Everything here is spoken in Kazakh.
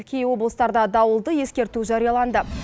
кей облыстарда дауылды ескерту жарияланды